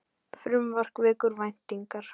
Frumvarp vekur væntingar